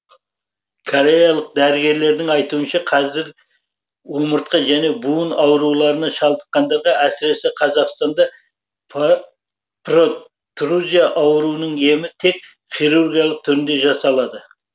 кореялық дәрігерлердің айтуынша қазір омыртқа және буын ауруларына шалдыққандарға әсіресе қазақстанда про трузия ауруының емі тек хирургиялық түрде жасалады